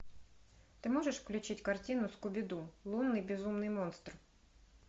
ты можешь включить картину скуби ду лунный безумный монстр